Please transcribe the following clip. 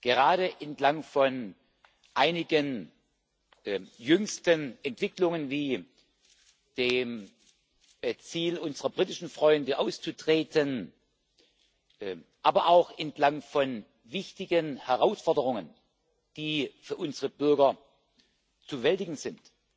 Gerade entlang von einigen jüngsten Entwicklungen wie dem Ziel unserer britischen Freunde, auszutreten, aber auch entlang von wichtigen Herausforderungen, die für unsere Bürger zu bewältigen sind,